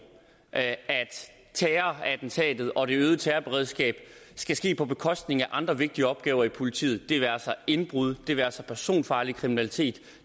at terrorattentatet og det øgede terrorberedskab skal ske på bekostning af andre vigtige opgaver i politiet det være sig indbrud det være sig personfarlig kriminalitet